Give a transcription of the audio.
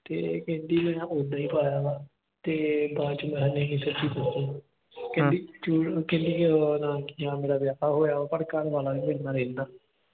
ਤੇ ਕਹਿੰਦੀ ਮੈਂ ਉੱਦਾਂ ਪਾਇਆ ਤੇ ਬਾਅਦ ਵਿਚ ਮੈਂ ਨਹੀਂ ਸੱਚੀ ਦੱਸੀ। ਕਹਿੰਦੀ ਕਹਿੰਦੀ ਉਹ ਨਾਂ ਕੀ ਆ ਮੇਰਾ ਵਿਆਹ ਹੋਇਆ ਪਰ ਘਰ ਵਾਲਾ ਨਹੀਂ ਮੇਰੇ ਨਾਲ ਰਹਿੰਦਾ।